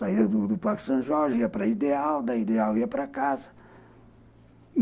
Saía do Parque São Jorge, ia para a Ideal, da Ideal ia para casa.